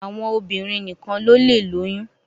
Àwọn obìrin nìkan ló lẹ lóyún.